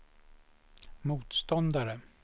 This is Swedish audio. motståndare